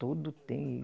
Todo tem.